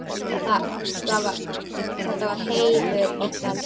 Þetta var heimur óttans.